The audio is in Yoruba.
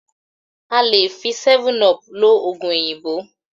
A lè fi '7up' lo òògùn òyìnbó